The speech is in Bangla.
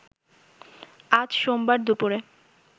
আজ সোমবার দুপুরে